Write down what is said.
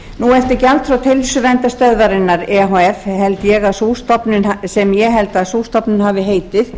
nú eftir gjaldþrot heilsuverndarstöðvarinnar e h f sem ég held að sú stofnun hafi heitið